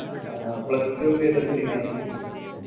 ആ plus two അപ്പൊ ഏത് എടുത്തിന്